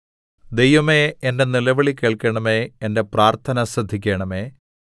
ദൈവമേ എന്റെ നിലവിളി കേൾക്കണമേ എന്റെ പ്രാർത്ഥന ശ്രദ്ധിക്കണമേ